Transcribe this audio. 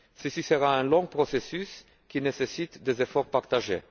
Ce sera un long processus, qui nécessite des efforts partagés.